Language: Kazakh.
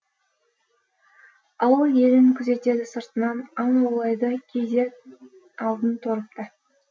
ауыл елін күзетеді сыртынан аң аулайды кейде алдын торып та